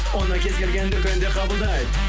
оны кез келген дүкенде қабылдайды